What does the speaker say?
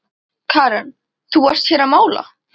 Karen: Þú varst hér að mála?